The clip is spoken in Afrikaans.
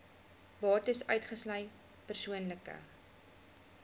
bates uitgesluit persoonlike